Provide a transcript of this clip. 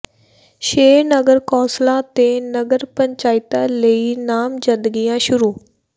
ਛੇ ਨਗਰ ਕੌਂਸਲਾਂ ਤੇ ਨਗਰ ਪੰਚਾਇਤਾਂ ਲਈ ਨਾਮਜ਼ਦਗੀਆਂ ਸ਼ੁਰੂ